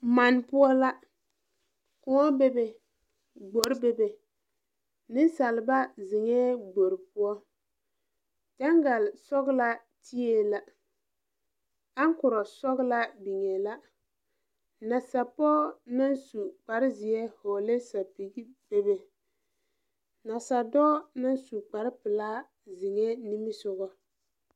Man poʊ la. Koɔ bebe gbor bebe. Nesaalba zeŋe gbor poʊ gyangal sɔglaa teeɛ la, aŋkuro sɔglaa biŋe la. Nasa poge na su kparo zie vogle sapige bebe. Nasa doɔ na su kparo pulaa zeŋe nimisɔgo